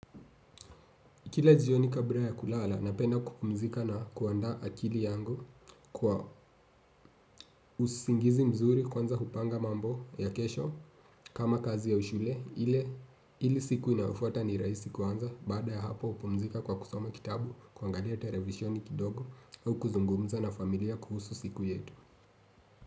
Kila jioni kabula ya kulala napenda kupumzika na kuanda akili yangu kwa usingizi mzuri kwanza hupanga mambo ya kesho kama kazi ya shule ili siku inayofuata ni rahisi kuanza baada ya hapo hupumzika kwa kusoma kitabu kwangalia televisioni kidogo au kuzungumza na familia kuhusu siku yetu.